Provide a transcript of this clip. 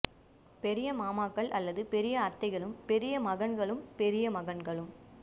பெரிய மாமாக்கள் அல்லது பெரிய அத்தைகளும் பெரிய மகன்களும் பெரிய மகன்களும்